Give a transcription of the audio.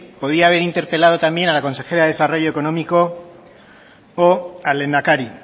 podría haber interpelado también a la consejera de desarrollo económico o al lehendakari